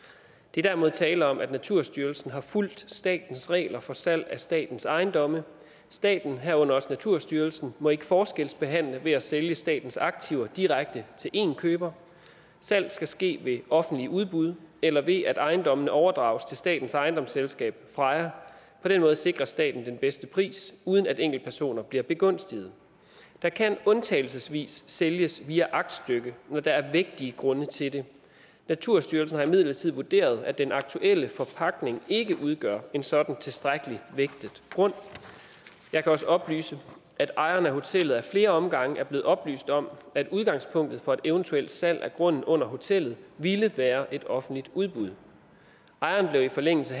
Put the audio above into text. er derimod tale om at naturstyrelsen har fulgt statens regler for salg af statens ejendomme staten herunder også naturstyrelsen må ikke forskelsbehandle ved at sælge statens aktiver direkte til én køber salg skal ske ved offentlige udbud eller ved at ejendommene overdrages til statens ejendomsselskab freja på den måde sikres staten den bedste pris uden at enkeltpersoner bliver begunstiget der kan undtagelsesvis sælges via aktstykke når der er vægtige grunde til det naturstyrelsen har imidlertid vurderet at den aktuelle forpagtning ikke udgør en sådan tilstrækkelig vægtet grund jeg kan også oplyse at ejeren af hotellet ad flere omgange er blevet oplyst om at udgangspunktet for et eventuel salg af grunden under hotellet ville være et offentligt udbud ejeren blev i forlængelse